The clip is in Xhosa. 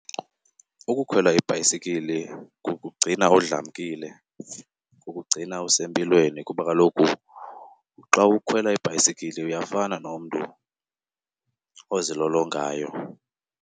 Ukukhwela ibhayisekile kukugcina udlamkile, kukugcina usempilweni kuba kaloku xa ukhwela ibhayisekile uyafana nomntu ozilolongayo.